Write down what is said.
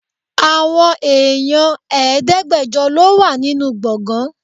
Àwọn èèyàn Ẹ̀ẹ́dẹ́gbẹjọ lọ wà nínú gbọ̀ngán.